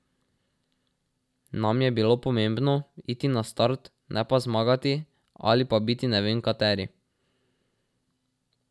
Nam je bilo pomembno iti na start, ne pa zmagati ali pa biti ne vem kateri.